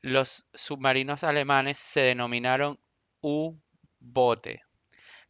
los submarinos alemanes se denominaron u-boote